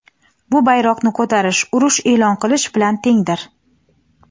bu bayroqni ko‘tarish urush e’lon qilish bilan tengdir.